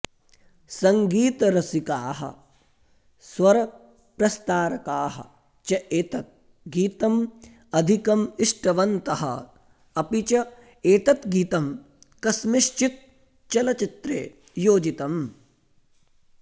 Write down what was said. सङ्गीतरसिकाः स्वरप्रस्तारकाः च एतत् गीतम् अधिकम् इष्टवन्तः अपि च एतत् गीतं कस्मिंश्चित् चलच्चित्रे योजितम्